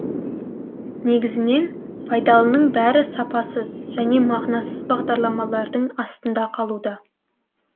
негізінен пайдалының бәрі сапасыз және мағынасыз бағдарламалардың астында қалуда